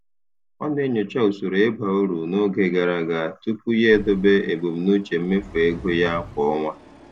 Ọ na-enyocha usoro ịba uru n'oge gara aga tupu ya edobe ebumnuche mmefu ego ya kwa ọnwa.